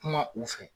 Kuma u fɛ